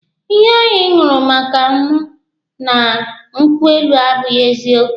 Ihe ahụ ị nụrụ maka mụ na nkwụ elu abụghị eziokwu.